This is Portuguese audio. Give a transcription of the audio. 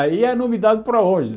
Aí é nome dado para hoje.